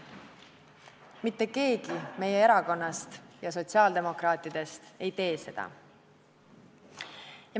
Mitte keegi meie erakonnast ja sotsiaaldemokraatidest ei tee seda.